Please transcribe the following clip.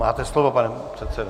Máte slovo, pane předsedo.